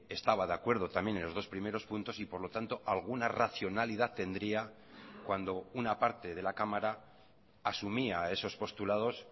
estaba de acuerdo también en los dos primeros puntos y por lo tanto alguna racionalidad tendría cuando una parte de la cámara asumía esos postulados